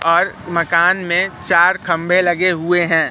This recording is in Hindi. और मकान मे चार खंभे लगे हुए है।